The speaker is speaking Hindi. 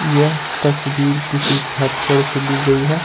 यह तस्वीर किसी छत पर से ली गई है।